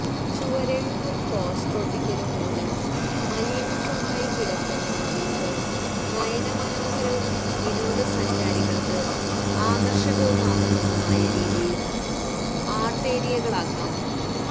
ചുവരെഴുത്തും പോസ്റ്ററൊട്ടിക്കലും മൂലം മലീമസ്സമായിക്കിടക്കുന്ന മതിലുകൾ നയനമനോഹരവും വിനോദസഞ്ചാരികൾക്ക് ആകർഷകവുമാകുന്നതുമായ രീതിയിൽ ആർട്ടേരിയകളാക്കാം